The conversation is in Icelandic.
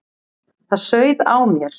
Það sauð á mér.